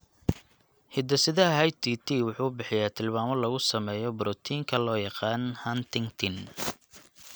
Hidde-sidaha HTT wuxuu bixiyaa tilmaamo lagu sameeyo borotiinka loo yaqaan huntingtin.